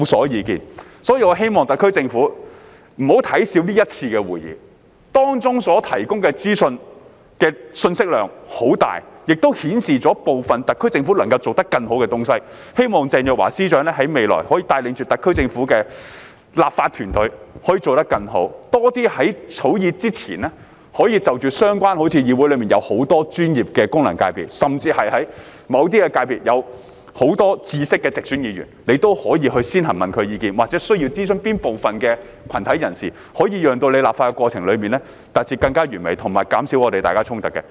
因此，本人希望特區政府不要小看這一次的會議，當中所提供的資訊的信息量很大，亦顯示出部分特區政府能夠做得更好的東西，希望鄭若驊司長在未來可以帶領着特區政府的立法團隊，可以做得更好，多些在政府草擬法案之前就着相關問題，與議會內很多的專業的功能界別，甚至在某些界別內具有豐富知識的直選議員，先行詢問他們的意見，又或看看需要諮詢哪部分的群體人士，從而讓立法過程達至更完美，以及減少大家之間的衝突。